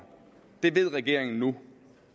det ved regeringen nu